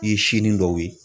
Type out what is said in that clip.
I ye sini dɔw ye.